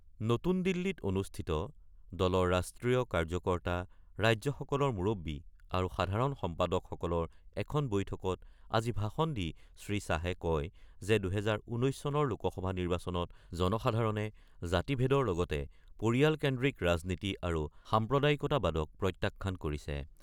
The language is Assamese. নতুন দিল্লীত অনুষ্ঠিত দলৰ ৰাষ্ট্ৰীয় কাৰ্যকৰ্তা , ৰাজ্যসকলৰ মুৰববী আৰু সাধাৰণ সম্পাদক সকলৰ এখন বৈঠকত আজি ভাষণ দি শ্ৰীশ্বাহে কয় যে ২০১৯ চনৰ লোকসভা নিৰ্বাচনত জনসাধাৰণে জাতি ভেদৰ লগতে পৰিয়ালকেন্দ্ৰীক ৰাজনীতি আৰু সাম্প্ৰদায়িকতাবাদত প্ৰত্যাখ্যান কৰিছে।